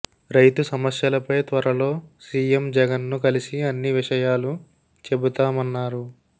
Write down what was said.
రైతు సమస్యలపై త్వరలో సీఎం జగన్ను కలిసి అన్ని విషయాలు చెబుతామన్నారు